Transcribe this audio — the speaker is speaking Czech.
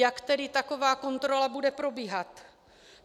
Jak tedy taková kontrola bude probíhat?